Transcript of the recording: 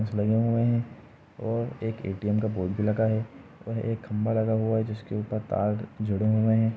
इसस bank में एक ATM. का बोर्ड भी लगा है और एक खंभा भी लगा हुआ है जिसमें तार जुड़े हुए हैं।